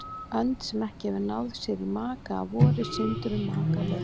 Önd, sem ekki hefur náð sér í maka að vori, syndir um makalaus.